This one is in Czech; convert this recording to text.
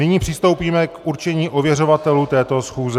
Nyní přistoupíme k určení ověřovatelů této schůze.